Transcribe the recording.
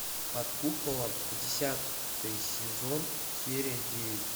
под куполом десятый сезон серия девять